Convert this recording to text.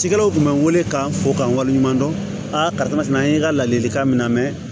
Cikɛlaw tun bɛ n wele ka n fo ka n wale ɲuman dɔn a kama an ye n ka ladilikan min na mɛn